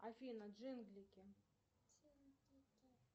афина джинглики